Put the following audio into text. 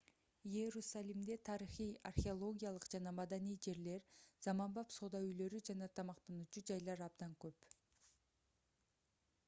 иерусалимде тарыхый археологиялык жана маданий жерлер заманбап соода үйлөрү жана тамактануучу жайлар абдан көп